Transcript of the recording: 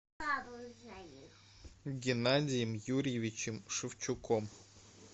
геннадием юрьевичем шевчуком